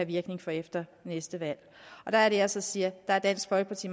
virkning fra efter næste valg der er det jeg så siger at dansk folkeparti